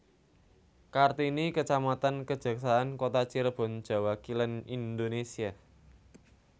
Kartini kecamatan Kejaksaan Kota Cirebon Jawa Kilen Indonésia